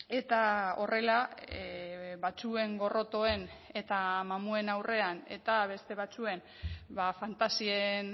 eta horrela batzuen gorrotoen eta mamuen aurrean eta beste batzuen fantasien